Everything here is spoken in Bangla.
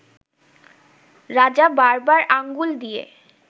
রাজা বারবার আঙ্গুল দিয়ে